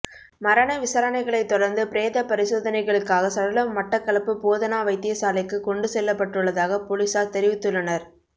மரண விசாரணைகளைத் தொடர்ந்து பிரேத பரிசோதனைகளுக்காக சடலம் மட்டக்களப்பு போதனா வைத்தியசாலைக்கு கொண்டு செல்லப்பட்டுள்ளதாக பொலிஸார் தெரிவித்துள்ளனர்